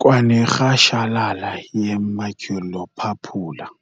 kwanerhashalala ye-maculopapular.